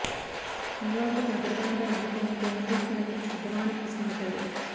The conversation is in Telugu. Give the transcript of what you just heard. చంద్రబాబుకు తన పరిపాలనపై నమ్మకం ఉంటే ముందస్తు ఎన్నికలకు సిద్దమా అని ప్రశ్నించారు